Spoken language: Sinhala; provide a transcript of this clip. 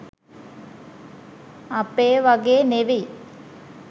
අපේ වගේ නෙවි